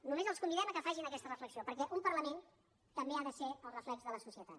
només els convidem que facin aquesta reflexió perquè un parlament també ha de ser el reflex de la societat